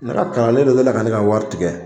Ne ka kalanlen dɔ delila ka ne ka wari tigɛ